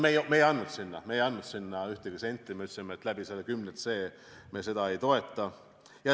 Me ei andnud sinna ühtegi senti, me ütlesime, et selle 10c kaudu me seda ei toeta.